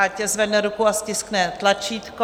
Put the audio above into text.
Ať zvedne ruku a stiskne tlačítko.